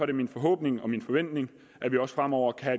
det min forhåbning og min forventning at vi også fremover kan